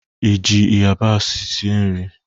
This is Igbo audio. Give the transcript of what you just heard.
I ji yabasị sie nri?